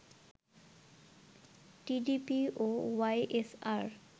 TDP ও YSR